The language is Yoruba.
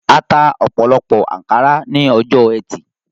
Ata ọ̀pọ̀lọpọ̀ ànkárá ní ọjọ́ ẹtì